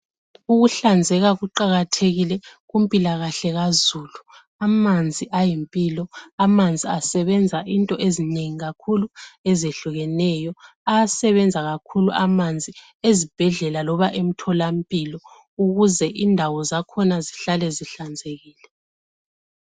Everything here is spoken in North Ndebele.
ukuhlanzeka kuqakathekile kumpilakahle kazulu, amanzi ayimpilo, amanzi asebenza into ezinengi kakhuli ezehlukeneyo, ayasebenza kakhulu amanzi ezibhedlela loba emthola mpilo ukuze indawo zakhona zhlale zihlanzekile.